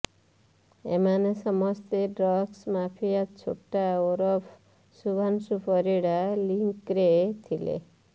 ଏମାନେ ସମସ୍ତେ drugs mafia Chhota ଓରଫ ଶୁଭ୍ରାଂଶୁ ପରିଡ଼ା ଲିଙ୍କ୍ରେ ଥିଲେ